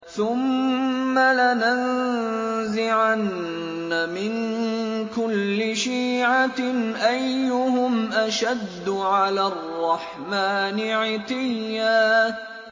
ثُمَّ لَنَنزِعَنَّ مِن كُلِّ شِيعَةٍ أَيُّهُمْ أَشَدُّ عَلَى الرَّحْمَٰنِ عِتِيًّا